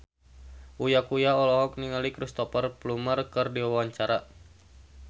Uya Kuya olohok ningali Cristhoper Plumer keur diwawancara